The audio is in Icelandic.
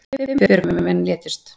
Fimm björgunarmenn létust